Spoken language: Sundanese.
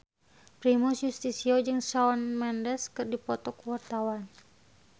Primus Yustisio jeung Shawn Mendes keur dipoto ku wartawan